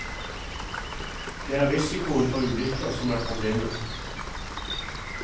Det er risikoen for ulykker som er problemet.